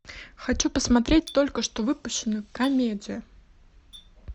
хочу посмотреть только что выпущенную комедию